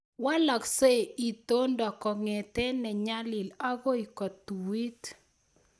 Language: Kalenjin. Walaksei itondo kongete ne nyalil agoi kotuit